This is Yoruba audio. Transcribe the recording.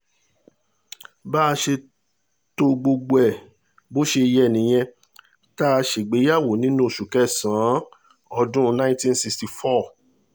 bá a ṣe to gbogbo ẹ̀ bó ṣe yẹ nìyẹn tá a ṣègbéyàwó nínú oṣù kẹsàn-án ọdún ninety sixty four